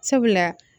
Sabula